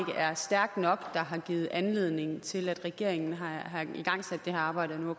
er stærkt nok der har givet anledning til at regeringen har igangsat det her arbejde og